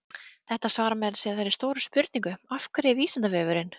Þetta svarar meira að segja þeirri stóru spurningu, Af hverju er Vísindavefurinn?